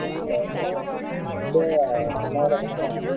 এতিয়া তোমাৰ এটা কথা চোৱা মানে